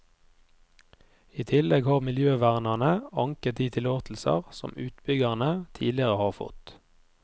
I tillegg har miljøvernerne anket de tillatelser som utbyggerne tidligere har fått.